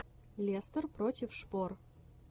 лестер против шпор